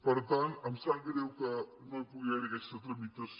per tant em sap greu que no hi pugui haver aquesta tramitació